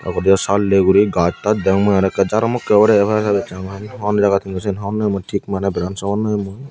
odeyo sal de guri gaz taj deong mui araw ekka jaromokke obodey pore sar gossoney hon jagat hindu sen honnopem mui tik maneh berans hogonopem mui.